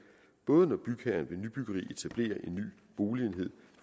både når bygherren ved nybyggeri etablerer en ny boligenhed